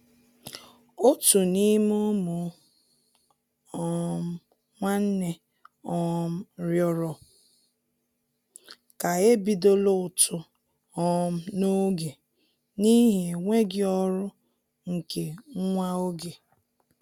Òtù n'ime ụmụ um nwánnè um rịọrọ ká e bidola ụtụ um n'oge n'ihi enweghị ọrụ nke nwa oge.